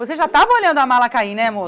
Você já estava olhando a mala cair, né, amor?